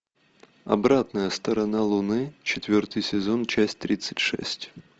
обратная сторона луны четвертый сезон часть тридцать шесть